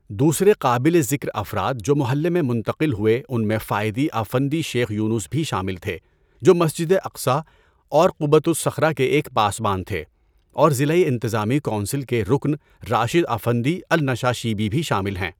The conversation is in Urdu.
دوسرے قابل ذکر افراد جو محلے میں منتقل ہوئے ان میں فائدی افندی شیخ یونس بھی شامل تھے جو مسجد اقصٰی اور قبۃ الصخرہ کے ایک پاسبان تھے اور ضلعی انتظامی کونسل کے رکن راشد افندی النشاشیبی بھی شامل ہیں۔